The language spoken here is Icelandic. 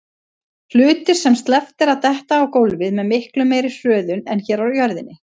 Hlutir sem sleppt er detta á gólfið með miklu meiri hröðun en hér á jörðinni.